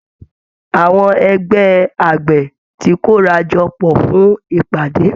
Àwọn ẹgbẹ́ àgbẹ̀ ti kóra jọ pọ̀ fún ìpàdé